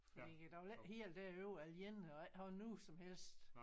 Fordi jeg ville ikke helt derover alene og ikke have nogen som helst